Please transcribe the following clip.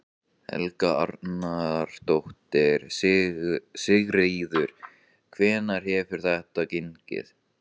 Helga Arnardóttir: Sigríður, hvernig hefur þetta gengið?